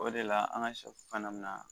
O de la an ka sɛ fana bɛna